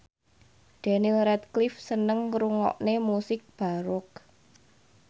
Daniel Radcliffe seneng ngrungokne musik baroque